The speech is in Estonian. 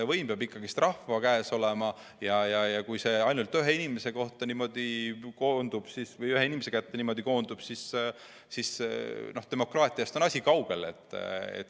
Võim peab ikka rahva käes olema ja kui see ainult ühe inimese kätte koondub, siis on demokraatiast asi kaugel.